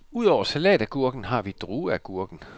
Ud over salatagurken har vi drueagurken.